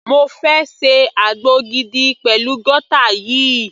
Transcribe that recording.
Mo fẹ́ ṣe àgbo gidi pẹ̀lú guata yìí.